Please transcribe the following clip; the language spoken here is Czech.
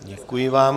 Děkuji vám.